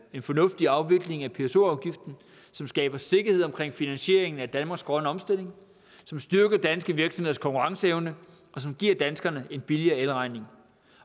en fornuftig afvikling af pso afgiften som skaber sikkerhed om finansieringen af danmarks grønne omstilling som styrker danske virksomheders konkurrenceevne og som giver danskerne en billigere elregning